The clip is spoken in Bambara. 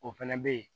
O fɛnɛ be yen